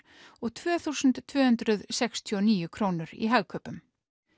og tvö þúsund tvö hundruð sextíu og níu krónur í Hagkaupum